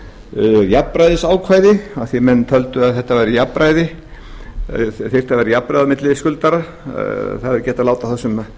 um jafnræðisákvæðisákvæði af því að menn töldu að vera þarf jafnræði á milli skuldara það er ekki hægt að láta þá sem